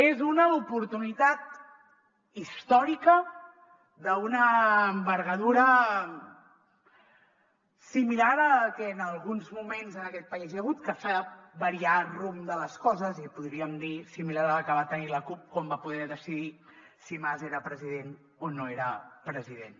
és una oportunitat històrica d’una envergadura similar a la que en alguns moments en aquest país hi ha hagut que fa variar el rumb de les coses i podríem dir similar a la que va tenir la cup quan va poder decidir si mas era president o no era president